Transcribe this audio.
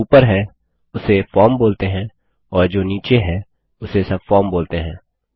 जो ऊपर है उसे फॉर्म बोलते हैं और जो नीचे है उसे सबफार्म बोलते हैं